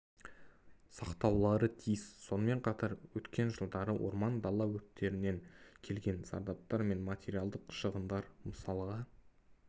сақтаулары тиіс сонымен қатар өткен жылдары орман дала өрттерінен келген зардаптар мен материалдық шығындар мысалға